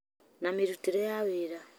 na mĩrutĩre ya wĩra,